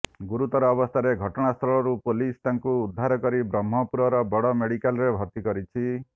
ଗୁରୁତର ଅବସ୍ଥାରେ ଘଟଣାସ୍ଥଳରୁ ପୁଲିସ ତାକୁ ଉଦ୍ଧାର କରି ବ୍ରହ୍ମପୁରର ବଡ଼ ମେଡିକାଲରେ ଭର୍ତ୍ତି କରିଛି